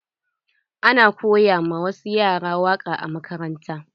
Ana koya ma wasu yara waƙa a makaranta.